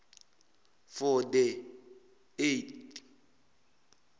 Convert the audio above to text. for the eight